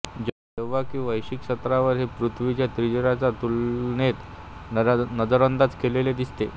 जेव्हा की वैश्विक स्तरावर हे पृथ्वीच्या त्रिज्याच्या तुलनेत नजरअंदाज केलेले दिसतें